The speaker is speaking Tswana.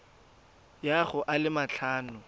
ya go a le matlhano